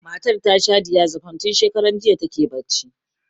Matar ta sha diazepam, tun shakaran jiya ta ke barci.